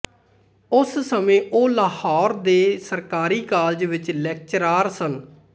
ਉਸ ਸਮੇਂ ਉਹ ਲਾਹੌਰ ਦੇ ਸਰਕਾਰੀ ਕਾਲਜ ਵਿੱਚ ਲੈਕਚਰਾਰ ਸਨ